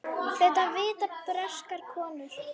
Þetta vita breskar konur.